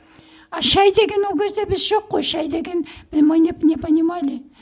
а шай деген ол кезде біз жоқ қой шай деген мы не не понимали